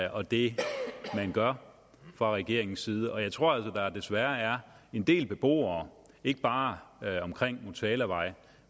og det man gør fra regeringens side og jeg tror altså der desværre er en del beboere ikke bare omkring motalavej